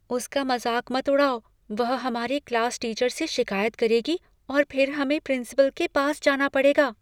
उसका मज़ाक मत उड़ाओ। वह हमारे क्लास टीचर से शिकायत करेगी और फिर हमें प्रिंसिपल के पास जाना पड़ेगा।